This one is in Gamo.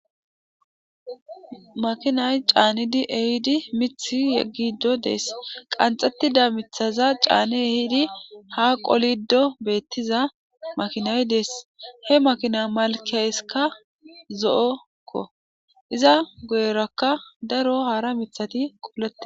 makinay caanidi ehidi mith yeggido dees qanxxettida mithaza caani ehidi ha qolido beettiza makinay dees he makina malkeyskka zo7okko iza guyerakka daro haara mithati quulete